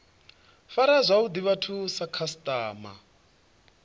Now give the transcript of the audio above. fara zwavhuḓi vhathu sa khasiṱama